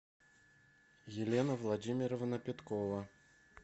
елена владимировна петкова